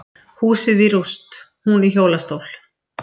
Húsið rúst, hún í hjólastól